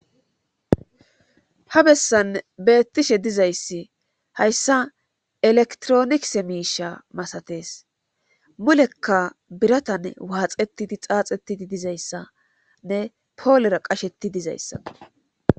ha bessan beettishe dizayssi hayssa elektronise miisha masatees mulekka biratan waaxetidi xaaxetidi dizayssanne poolera qasheti dizayssa